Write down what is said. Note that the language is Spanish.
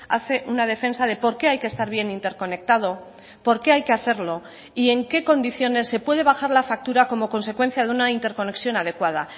hace una defensa de por qué hay que estar bien interconectado por qué hay que hacerlo y en qué condiciones se puede bajar la factura como consecuencia de una interconexión adecuada